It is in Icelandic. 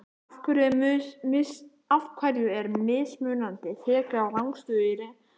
Af hverju er mismunandi tekið á rangstöðu í leikjum?